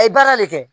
A ye baara de kɛ